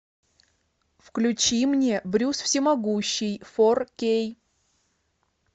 включи мне брюс всемогущий фор кей